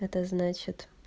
это значит